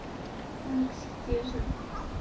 так все те же